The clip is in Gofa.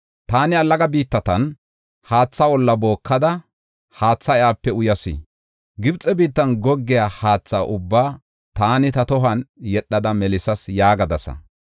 Taani allaga biittatan haatha olla bookada haathe iyape uyas. Gibxe biittan goggiya haatha ubbaa taani ta tohuwan yedhada melisas’ ” yaagadasa.